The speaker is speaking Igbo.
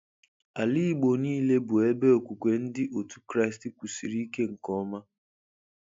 Ala igbo niile bụ ebe okwukwe ndị otu Kraist kwusịrị ike nke ọma